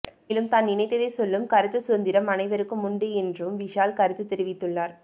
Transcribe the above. மேலும் தான் நினைத்ததை சொல்லும் கருத்து சுதந்திரம் அனைவருக்கும் உண்டு என்றும் விஷால் கருத்து தெரிவித்துள்ளார்